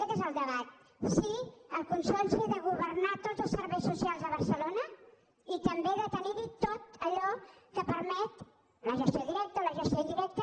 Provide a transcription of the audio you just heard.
aquest és el debat si el consorci ha de go·vernar tots els serveis socials a barcelona i també de tenir·hi tot allò que permet la gestió directa o la gestió indirecta